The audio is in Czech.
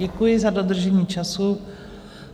Děkuji za dodržení času.